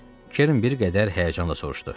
Kerin bir qədər həyəcanla soruşdu.